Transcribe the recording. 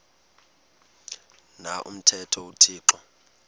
na umthetho uthixo